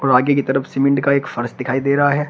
आगे की तरफ सीमेंट का एक फर्श दिखाई दे रहा है।